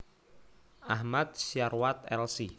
Ahmad Syarwat Lc